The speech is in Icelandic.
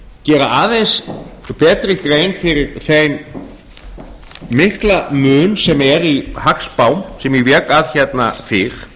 gera aðeins betri grein fyrir þeim mikla mun sem er í hagspám sem ég vék að hérna fyrr